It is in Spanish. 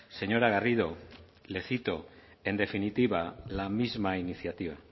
señora garrido le cito en definitiva la misma iniciativa